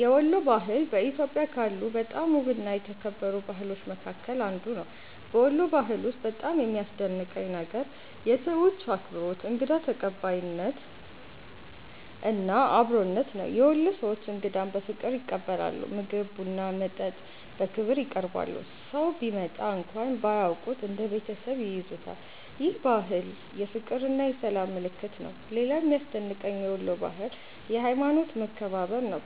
የወሎ ባህል በኢትዮጵያ ካሉ በጣም ውብና የተከበሩ ባህሎች መካከል አንዱ ነው። በወሎ ባህል ውስጥ በጣም የሚያስደንቀኝ ነገር የሰዎቹ አክብሮት፣ እንግዳ ተቀባይነት እና አብሮነት ነው። የወሎ ሰዎች እንግዳን በፍቅር ይቀበላሉ፤ ምግብ፣ ቡና እና መጠጥ በክብር ያቀርባሉ። ሰው ቢመጣ እንኳን ባያውቁት እንደ ቤተሰብ ይይዙታል። ይህ ባህል የፍቅርና የሰላም ምልክት ነው። ሌላው የሚያስደንቀኝ የወሎ ባህል የሀይማኖት መከባበር ነው።